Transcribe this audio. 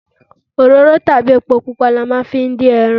Òróró tàbí epo ni a máa ń fi ń dín ẹran.